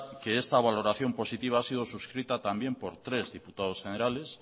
que esta valoración positiva ha sido suscrita también por tres diputados generales